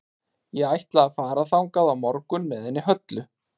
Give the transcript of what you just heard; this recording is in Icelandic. Ég ætla að fara þangað á morgun með henni Höllu.